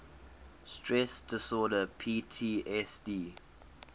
stress disorder ptsd